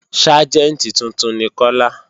Ságẹ̀ntì tuntun ni Kọ́lá